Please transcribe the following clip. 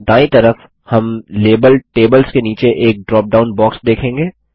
दायीं तरफ हम लेबल टेबल्स के नीचे एक ड्रॉप डाउन बाक्स देखेंगे